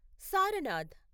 Sarnath